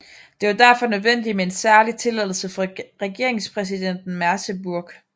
Det var derfor nødvendigt med en særlig tilladelse fra regeringspræsidenten i Merseburg